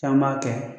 Caman b'a kɛ